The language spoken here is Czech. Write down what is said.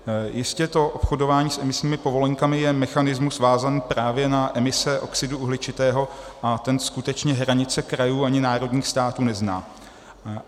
Jistě to obchodování s emisními povolenkami je mechanismus vázaný právě na emise oxidu uhličitého a ten skutečně hranice krajů ani národních států nezná.